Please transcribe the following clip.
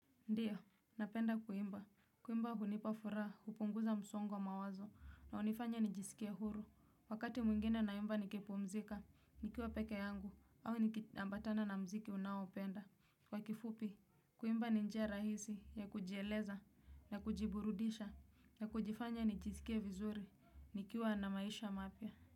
Ndiyo, napenda kuimba. Kuimba hunipa furaha, hupunguza msongo wa mawazo, na hunifanya nijiskie huru. Wakati mwingine naimba nikipumzika, nikiwa peke yangu, au nikiambatana na mziki unaopenda. Kwa kifupi, kuimba ni njia rahisi ya kujieleza, na kujiburudisha, na kujifanya nijisikie vizuri, nikiwa na maisha mapya.